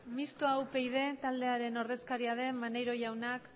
mistoa upyd taldearen ordezkaria den maneiro jaunak